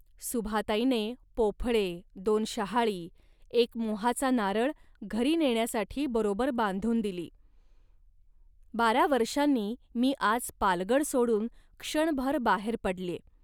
सुभाताईने पोफळे, दोन शहाळी, एक मोहाचा नारळ घरी नेण्यासाठी बरोबर बांधून दिली. बारा वर्षांनी मी आज पालगड सोडून क्षणभर बाहेर पडल्ये